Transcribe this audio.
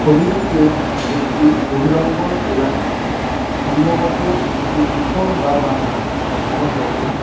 ছবিটিতে একটি বহিরঙ্গন এলাকা সম্ভবত একটি উঠোন বা বাগান দেখানো হয়েছে।